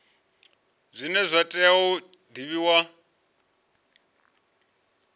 zwine zwa tea u divhiwa